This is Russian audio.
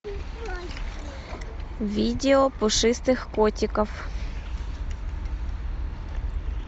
видео пушистых котиков